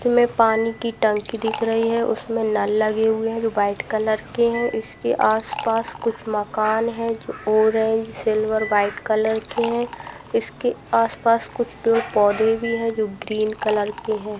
हमे पानी की टंकी दिख रही है उसमे नल लगे हुए है जो व्हाइट कलर के है इसके आसपास कुछ मकान है जो ऑरेंज सिल्वर व्हाइट कलर के है इसके आसपास कुछ पेड़-पौधे है जो ग्रीन कलर के है।